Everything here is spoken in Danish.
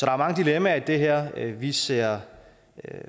er mange dilemmaer i det her vi ser